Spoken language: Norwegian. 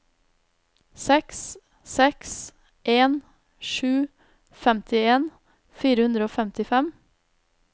seks seks en sju femtien fire hundre og femtifem